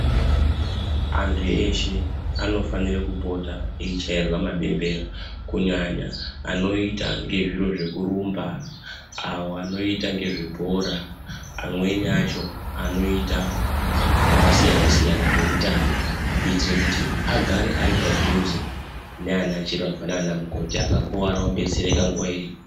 Antu eshe anofanire kupota eichairwa mabembera kunyanya anoita ngezviro zvekurumba , avo anoita ngezvebhora, amweni acho anoita zvakasiya -siyana zvemutambo kuitira kuti agare ari padhuze nana chiremba nana mukoti akakuwara obetsereka nguwa iripo.